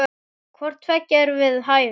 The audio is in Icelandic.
Hvort tveggja er við hæfi.